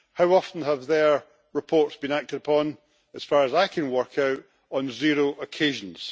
How often have their reports been acted upon? As far as I can work out, on zero occasions.